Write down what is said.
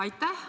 Aitäh!